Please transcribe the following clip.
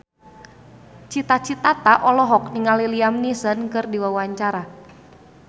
Cita Citata olohok ningali Liam Neeson keur diwawancara